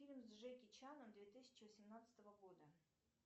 фильм с джеки чаном две тысячи восемнадцатого года